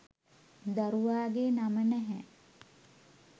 දරුවාගේ නම නැහැ.